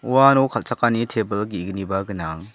uano kal·chakani tebil ge·gniba gnang.